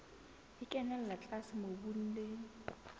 e kenella tlase mobung le